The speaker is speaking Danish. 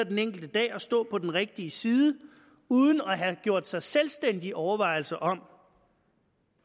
den enkelte dag at stå på den rigtige side uden at have gjort sig selvstændige overvejelser om